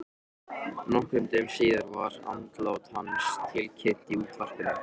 Nokkrum dögum síðar var andlát hans tilkynnt í útvarpinu.